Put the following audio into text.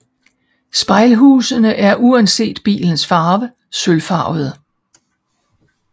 Spejlhusene er uanset bilens farve sølvfarvede